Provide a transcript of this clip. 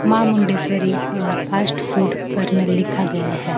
मां Mundeshwari a fast food corner लिखा गया है।